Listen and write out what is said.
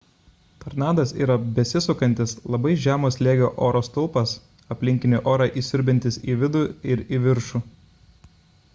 tornadas yra besisukantis labai žemo slėgio oro stulpas aplinkinį orą įsiurbiantis į vidų ir į viršų